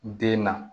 Den na